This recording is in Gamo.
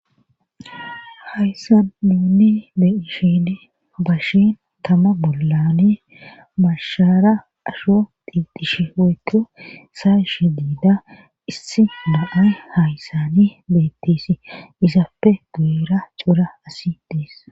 hayssan muuni beishin bashin tama bollani mashara asho diixish weekko saa ish diida issi mo7ay hayssani bettisi izaapfe guera cuura asi dees